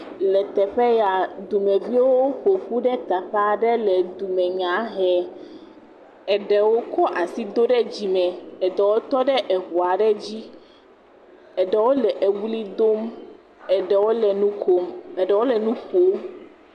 Le teƒe ya dumeviwo ƒoƒu ɖe teƒe aɖe le dumenya hem, eɖewo kɔ asi do ɖe dzime, eɖewo tɔ eŋu aɖe dzi, eɖewo le ewli dom, eɖewo le nu kom, eɖewo le nu ƒom.